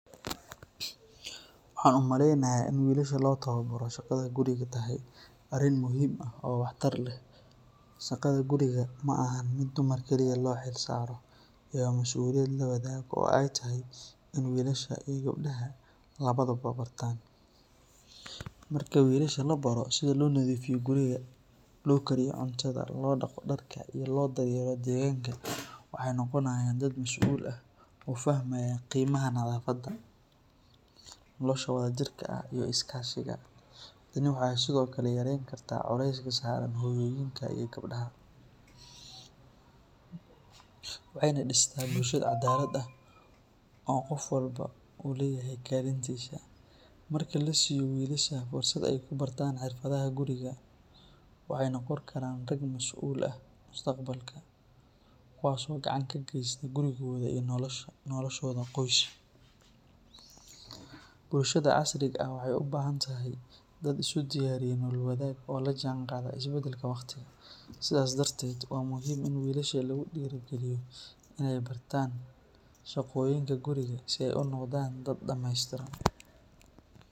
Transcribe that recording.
Waxaan u maleynayaa in wilasha loo tababaro shaqada guriga ay tahay arrin muhiim ah oo waxtar leh. Shaqada guriga ma ahan mid dumar kaliya loo xilsaaro, ee waa masuuliyad la wadaago oo ay tahay in wiilasha iyo gabdhaha labaduba bartaan. Marka wiilasha la baro sida loo nadiifiyo guriga, loo kariyo cuntada, loo dhaqdo dharka, iyo loo daryeelo deegaanka, waxay noqonayaan dad mas’uul ah oo fahmaya qiimaha nadaafadda, nolosha wadajirka ah, iyo is-kaashiga. Tani waxay sidoo kale yareyn kartaa culayska saaran hooyooyinka iyo gabdhaha, waxayna dhistaa bulsho cadaalad ah oo qof walba uu leeyahay kaalintiisa. Marka la siiyo wiilasha fursad ay ku bartaan xirfadaha guriga, waxay noqon karaan rag mas’uul ah mustaqbalka, kuwaas oo gacan ka geysta gurigooda iyo noloshooda qoys. Bulshada casriga ah waxay u baahan tahay dad isu diyaariyay nolol wadaag oo la jaanqaada isbedelka waqtiga, sidaas darteed waa muhiim in wiilasha lagu dhiirrigeliyo in ay bartaan shaqooyinka guriga si ay u noqdaan dad dhameystiran.